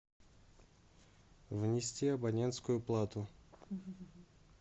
внести абонентскую плату